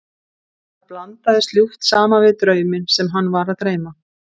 Það blandaðist ljúft saman við drauminn sem hann var að dreyma.